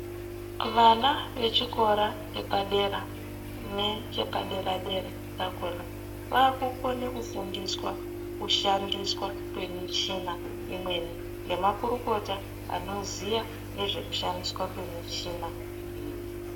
Vana vechikora chepadera nechepadera- dera chakona, vakukone kufundiswa kushandiswa kwemichina imweni nemakurukota anoziya nezvekushandiswa kwemichina iyi.